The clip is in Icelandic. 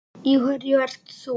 Í hverju ert þú?